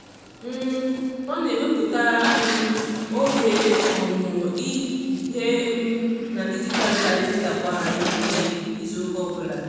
um Ọ na-ewepụta um oge ọmụmụ ihe um na dijitalụ kalịnda kwa ehihie izuụka ọbụla.